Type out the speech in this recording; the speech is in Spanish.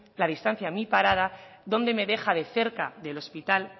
la distancia de mi parada dónde me deja de cerca del hospital